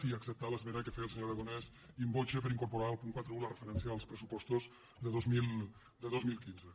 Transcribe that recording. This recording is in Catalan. i acceptar l’esmena que feia el senyor aragonès in voce per incorporar al punt quaranta un la referència als pressupostos de dos mil quinze